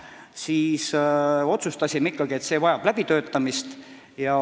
Nii me siis otsustasimegi, et see kõik vajab läbitöötamist.